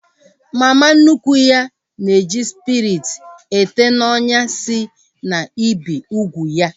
Mama nnukwu ya na-eji spiriti ete n'ọnyà si na ibi úgwù ya